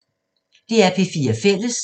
DR P4 Fælles